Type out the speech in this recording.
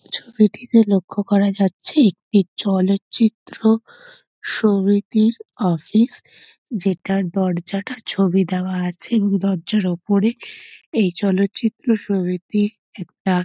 ছবিটিতে লক্ষ্য করা যাচ্ছে একটি চলচিত্র সমিতির অফিস যেটার দরজাটা ছবি দেওয়া আছে এবং দরজার ওপরে এই চলচিত্র সমিতি একটা --